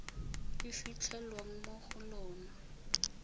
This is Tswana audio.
e fitlhelwang mo go lona